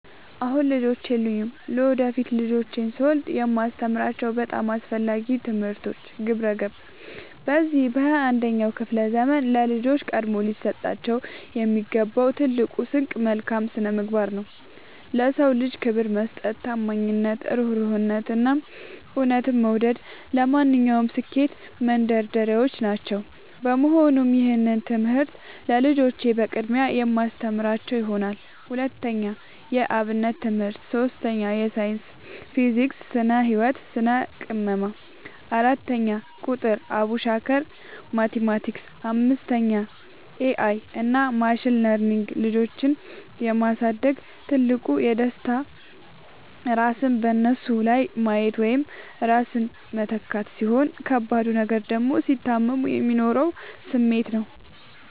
አሁን ልጆች የሉኝም። ለወደፊት ልጆችን ስወልድ የማስተምራቸው በጣም አስፈላጊ ትምህርቶች፦ 1. ግብረ-ገብ፦ በዚህ በ 21ኛው ክፍለ ዘመን ለልጆች ቀድሞ ሊሰጣቸው የሚገባው ትልቁ ስንቅ መልካም ስነምግባር ነው። ለ ሰው ልጅ ክብር መስጠት፣ ታማኝነት፣ እሩህሩህነት፣ እና እውነትን መውደድ ለማንኛውም ስኬት መንደርደሪያዎች ናቸው። በመሆኑም ይህንን ትምህርት ለልጆቼ በቅድሚያ የማስተምራቸው ይሆናል። 2. የ አብነት ትምህርት 3. ሳይንስ (ፊዚክስ፣ ስነ - ህወት፣ ስነ - ቅመማ) 4. ቁጥር ( አቡሻኽር፣ ማቲማቲክስ ...) 5. ኤ አይ እና ማሽን ለርኒንግ ልጆችን የ ማሳደግ ትልቁ ደስታ ራስን በነሱ ላይ ማየት ወይም ራስን መተካት፣ ሲሆን ከባዱ ነገር ደግሞ ሲታመሙ የሚኖረው ስሜት ነው።